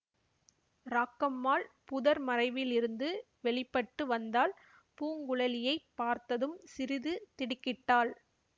ராக்கம்மாள் புதர் மறைவிலிருந்து வெளி பட்டு வந்தாள் பூங்குழலியைப் பார்த்ததும் சிறிது திடுக்கிட்டாள்